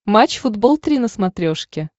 матч футбол три на смотрешке